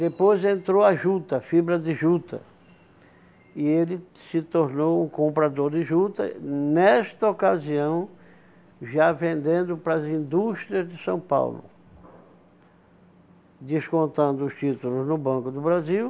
Depois entrou a juta, fibra de juta, e ele se tornou um comprador de juta, nesta ocasião, já vendendo para as indústrias de São Paulo, descontando os títulos no Banco do Brasil.